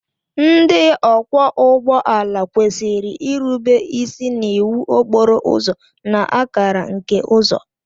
Ndị ọkwọ ụgbọala kwesịrị irube isi n'iwu okporo ụzọ na akara nke uzo.